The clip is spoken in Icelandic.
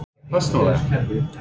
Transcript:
Ég persónulega?